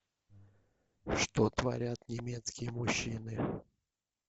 что творят немецкие мужчины